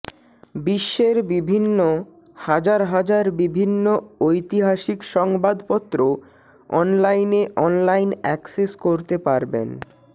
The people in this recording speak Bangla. বিশ্বের বিভিন্ন হাজার হাজার বিভিন্ন ঐতিহাসিক সংবাদপত্র অনলাইনে অনলাইন অ্যাক্সেস করতে পারবেন